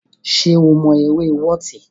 Ṣé o mọ eré wọọti.